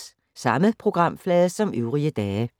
Samme programflade som øvrige dage